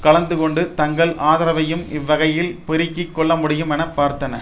கலந்துகொண்டு தங்கள் ஆதரவையும் இவ்வகையில் பெருக்கி கொள்ளமுடியும் என பார்த்தன